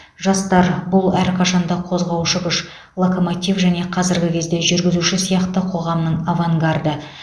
жастар бұл әрқашанда қозғаушы күш локомотив және қазіргі кезде жүргізуші сияқты қоғамның авангарды